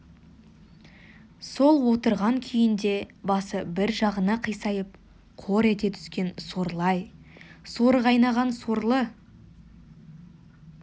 сол отырған күйінде басы бір жағына қисайып қор ете түскен сорлы-ай соры қайнаған сорлы